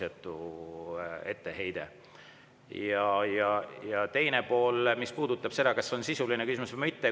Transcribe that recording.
Ja teine pool, mis puudutas seda, kas see oli sisuline küsimus või mitte.